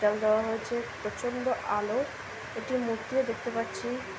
দেওয়া হয়েছে প্রচন্ড আলো একটি মূর্তি ও দেখতে পারছি।